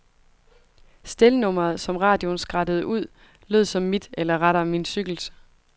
Stelnummeret, som radioen skrattede ud, lød som mit, eller rettere min cykels.